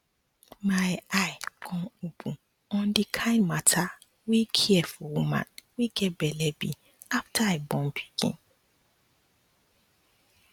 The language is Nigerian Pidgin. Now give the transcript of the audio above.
my eye come open on the kind mata wey care for woman wey get belle be after i born pikin